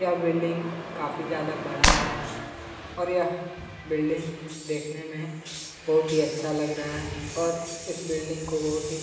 यह बिल्डिंग काफी ज्यादा बड़ा है और यह बिल्डिंग देखने में बहुत ही ज्यादा अच्छा लग रहा है और इस बिल्डिंग को बहुत ही--